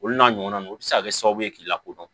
Olu n'a ɲɔgɔnaw o bɛ se ka kɛ sababu ye k'i lakodɔn